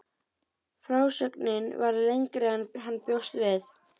Frásögnin varð lengri en hann bjóst við.